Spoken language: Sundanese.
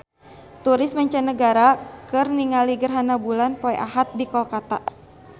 Turis mancanagara keur ningali gerhana bulan poe Ahad di Kolkata